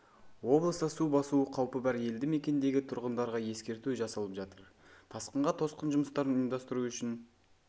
облыста су басуы қаупі бар елді мекендегі тұрғындарға ескерту жасалып жатыр тасқынға тосқын жұмыстарын ұйымдасытру үшін